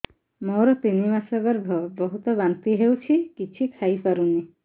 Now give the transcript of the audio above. ମୋର ତିନି ମାସ ଗର୍ଭ ବହୁତ ବାନ୍ତି ହେଉଛି କିଛି ଖାଇ ପାରୁନି